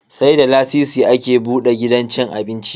Sai da lasisi ake buda gidan cin abinci.